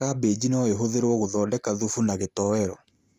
Kambĩji no ĩhũthirwo gũthondeka thubu na gĩtowero